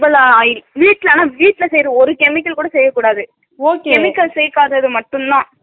oil வீட்ல ஆனா வீட்ல செய்ற ஒரு சேமிகள் கூட செய்யக்கூடாது chemical சேக்காததுதா மட்டும்தா